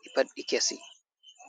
ɗi pad ɗi kesi.